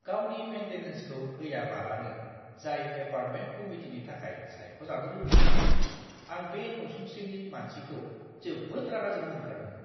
गावनि मेन्टेनेन्सखौ होयाबालानो जाय एपार्टमेन्ट कमिटिनि थाखाय सायख'जानो लुगैयोमोन आं बे नसुंसेनि मानसिखौ जोबोद रागा जोंनो ओंखारदोंमोन।